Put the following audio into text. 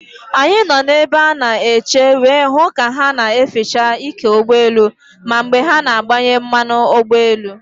Anyị nọ na ebe a na eche wee hụ ka ha na eficha ike ụgbọ elu, ma mgbe ha na agbanye mmanụ ụgbọ elu